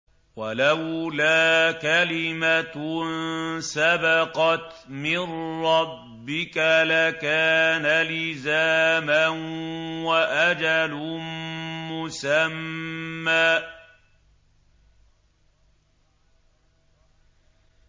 وَلَوْلَا كَلِمَةٌ سَبَقَتْ مِن رَّبِّكَ لَكَانَ لِزَامًا وَأَجَلٌ مُّسَمًّى